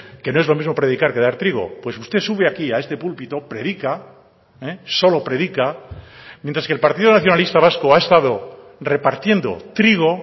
que no es lo mismo predicar que dar trigo pues usted sube aquí a este púlpito predica solo predica mientras que el partido nacionalista vasco ha estado repartiendo trigo